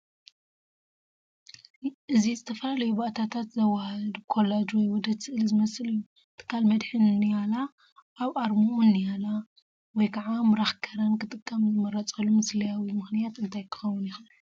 እዚ ዝተፈላለዩ ባእታታት ዘወሃህድ ኮላጅ ወይ ውህደት ስእሊ ዝመስል እዩ። ትካል መድሕን ንያላ ኣብ ኣርማኡ ንያላ (ምራኽ ከረን) ክጥቀም ዝመረጸሉ ምሳልያዊ ምኽንያት እንታይ ክኸውን ይኽእል?